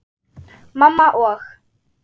Mamma og